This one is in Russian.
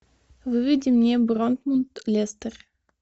выведи мне борнмут лестер